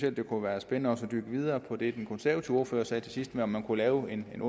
at det kunne være spændende at bygge videre på det den konservative ordfører sagde til sidst med at man kunne lave en